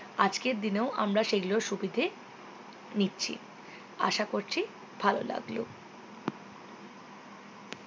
আজকের দিনেও আমরা সেই গুলো সুবিধে নিচ্ছি আশা করছি ভালো লাগলো